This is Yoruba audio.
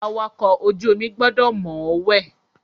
Awakọ̀ ojú omi gbọdọ̀ mọ̀ọ́wẹ̀.